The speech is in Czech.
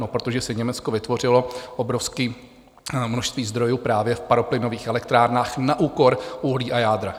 No protože si Německo vytvořilo obrovské množství zdrojů právě v paroplynových elektrárnách na úkor uhlí a jádra.